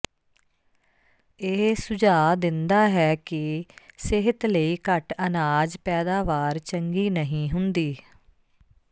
ਇਹ ਸੁਝਾਅ ਦਿੰਦਾ ਹੈ ਕਿ ਸਿਹਤ ਲਈ ਘੱਟ ਅਨਾਜ ਪੈਦਾਵਾਰ ਚੰਗੀ ਨਹੀਂ ਹੁੰਦੀ